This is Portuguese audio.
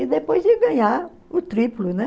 E depois de ganhar o triplo, né?